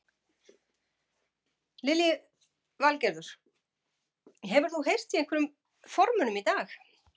Lillý Valgerður: Hefur þú heyrt í einhverjum formönnum í dag?